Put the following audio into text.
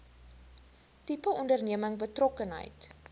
tipe onderneming betrokkenheid